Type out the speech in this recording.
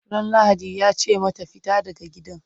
Ran lahadi yace mata"fita daga gidan!"